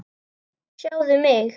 Sjáðu mig.